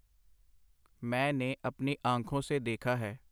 ਮੈਂ ਨੇ ਅਪਨੀ ਆਂਖੋਂ ਸੇ ਦੇਖਾ ਹੈ .